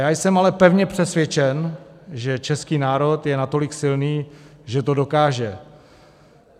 Já jsem ale pevně přesvědčen, že český národ je natolik silný, že to dokáže.